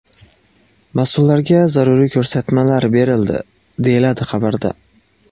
Mas’ullarga zaruriy ko‘rsatmalar berildi, deyiladi xabarda.